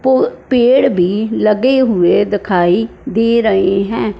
वो पेड़ भी लगे हुए दिखाई दे रहे हैं।